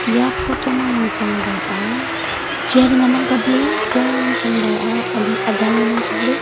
eya photo yang chang ba ah chair ngan ang kap ley chair yang chang ba ah ali aga ngan ang kap ley.